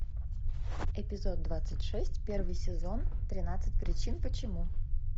эпизод двадцать шесть первый сезон тринадцать причин почему